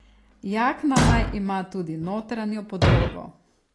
Jakna naj ima tudi notranjo podlogo.